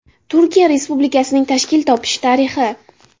Turkiya respublikasining tashkil topishi tarixi.